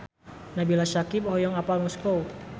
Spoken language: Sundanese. Nabila Syakieb hoyong apal Moskow